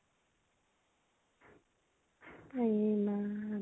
আইয়েমা